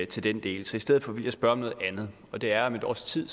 til den del i stedet for vil jeg spørge om noget andet og det er at om et års tid